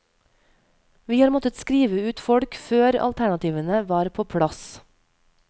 Vi har måttet skrive ut folk før alternativene var på plass.